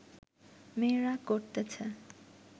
মেয়েরা করতেছে